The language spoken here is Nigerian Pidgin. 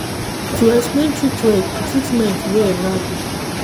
to explain treatment well